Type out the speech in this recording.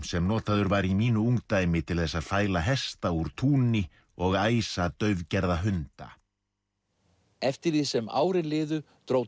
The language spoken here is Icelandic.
sem notaður var í mínu ungdæmi til þess að fæla hesta úr túni og æsa daufgerða hunda eftir því sem árin liðu dró